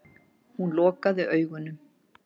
Hún lokaði augunum.